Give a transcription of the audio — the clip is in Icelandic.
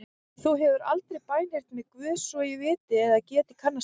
Þú hefur aldrei bænheyrt mig Guð svo ég viti eða geti kannast við.